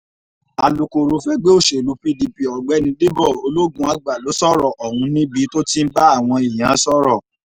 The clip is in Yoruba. alūkkóró fẹgbẹ́ òṣèlú pdp ọ̀gbẹ́ni dèbò ológunàgbà ló sọ̀rọ̀ ọ̀hún níbi tó ti ń bá àwọn èèyàn sọ̀rọ̀